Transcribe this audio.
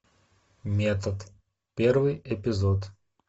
метод первый эпизод